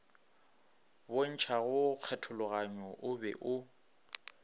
bontšhago kgethologanyo o be o